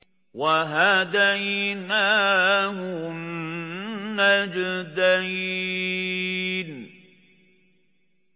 وَهَدَيْنَاهُ النَّجْدَيْنِ